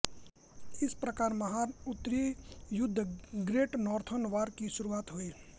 इस प्रकार महान उत्तरी युद्ध ग्रेट नॉर्थर्न वॉर की शुरुआत हुई